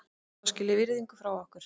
Hann á skilið virðingu frá okkur.